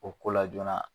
O ko la joona